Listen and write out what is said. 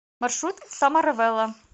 маршрут самаравело